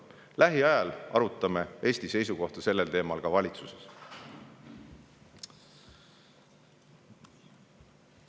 Lähiajal arutame Eesti seisukohta sellel teemal ka valitsuses.